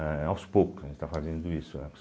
Aos poucos a gente está fazendo isso, né.